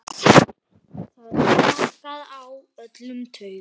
Það slaknar á öllum taugum.